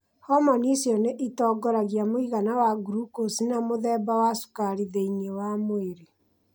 Hormoni icio nĩ itongoragia mũigana wa glucose na mũthemba wa cukari thĩinĩ wa mwĩrĩ.